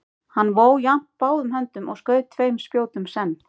Hann vó jafnt báðum höndum og skaut tveim spjótum senn.